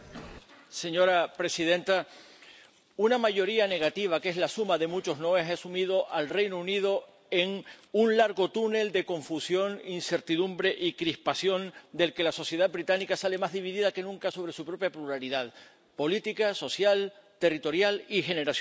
Señora presidenta, una mayoría negativa, que es la suma de muchos noes, ha sumido al Reino Unido en un largo túnel de confusión, incertidumbre y crispación del que la sociedad británica sale más dividida que nunca sobre su propia pluralidad política, social, territorial y generacional.